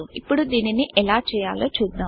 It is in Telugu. ఇప్పుడు దీనిని ఎలా చేయాలో చూద్దాం